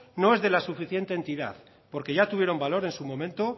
no es de la suficiente entidad porque ya tuvieron valor en su momento